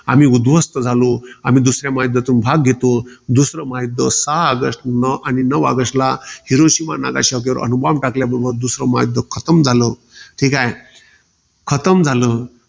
आम्ही उध्वस्त झालो. आम्ही दुसऱ्या महायुद्धातून भाग घेतो. दुसरं महायुध्द सहा ऑगस्टन आणि नऊ ऑगस्टला हिरोशिमा, नागासाकीवर अणुबॉम्ब टाकल्यावर, दुसरं महायुध्द खतम झालं. ठीकाय. खतम झालं.